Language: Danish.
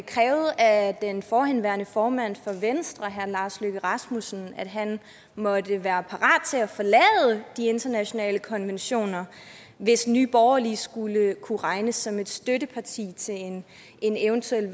krævede af den forhenværende formand for venstre herre lars løkke rasmussen at han måtte være parat til at forlade de internationale konventioner hvis nye borgerlige skulle kunne regnes som et støtteparti til en eventuel